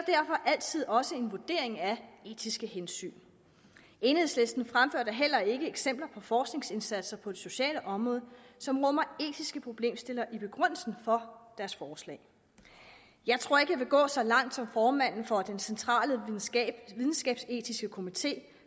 derfor altid også en vurdering af etiske hensyn enhedslisten fremfører da heller ikke eksempler på forskningsindsatser på det sociale område som rummer etiske problemstillinger i begrundelsen for deres forslag jeg tror ikke jeg vil gå så langt som formanden for den centrale videnskabsetiske komité